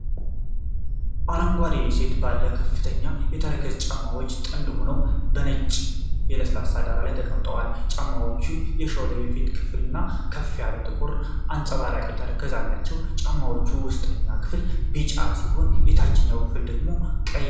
አረንጓዴ የሴቶች ባለ ከፍተኛ ተረከዝ ጫማዎች ጥንድ ሆነው በነጭ ለስላሳ ዳራ ላይ ተቀምጠዋል። ጫማዎቹ የሾለ የፊት ክፍልና ከፍ ያለ ጥቁር አንጸባራቂ ተረከዝ አላቸው። የጫማዎቹ ውስጠኛ ክፍል ቢጫ ሲሆን የታችኛው ክፍል ደግሞ ቀይ ቀለም አለው።